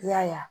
I y'a ye